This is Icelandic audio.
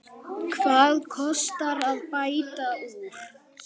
Hvað kostar að bæta úr?